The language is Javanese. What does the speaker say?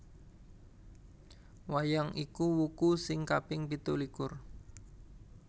Wayang iku wuku sing kaping pitulikur